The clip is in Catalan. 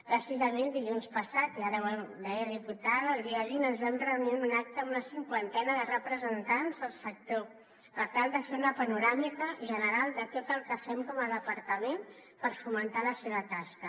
precisament dilluns passat i ara ho deia diputada el dia vint ens vam reunir en un acte amb una cinquantena de representants del sector per tal de fer una panoràmica general de tot el que fem com a departament per fomentar la seva tasca